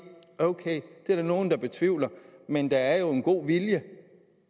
ok det er der nogle der betvivler men der er jo en god vilje